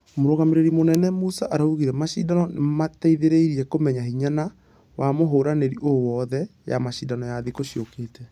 Mũrutani mũnene musa araugire mashidano nĩmamateithereire kũmenya hinya na ....wa mũhũrani Ũũ wothe ....ya mashidano ya thikũ ciũkĩte.